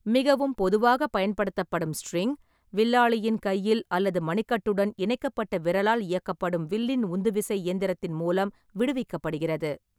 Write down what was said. மிகவும் பொதுவாக பயன்படுத்தப்படும் ஸ்ட்ரிங், வில்லாளியின் கையில் அல்லது மணிக்கட்டுடன் இணைக்கப்பட்ட விரலால் இயக்கப்படும் வில்லின் உந்துவிசை இயந்திரத்தின் மூலம் விடுவிக்கப்படுகிறது.